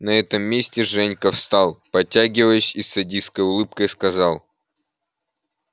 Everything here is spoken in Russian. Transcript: на этом месте женька встал потягиваясь и с садистской улыбкой сказал